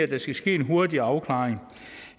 der skal ske en hurtig afklaring